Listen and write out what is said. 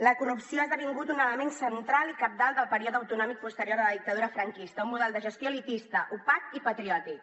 la corrupció ha esdevingut un element central i cabdal del període autonòmic posterior a la dictadura franquista un model de gestió elitista opac i patriòtic